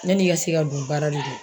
Yan'i ka se ka don baara de la